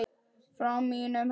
Frá mínum heimi.